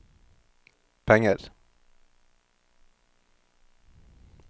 penger